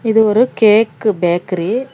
இது ஒரு cake bakery .